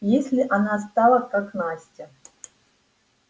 если она стала как настя